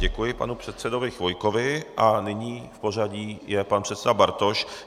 Děkuji panu předsedovi Chvojkovi a nyní v pořadí je pan předseda Bartoš.